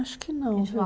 Acho que não, viu,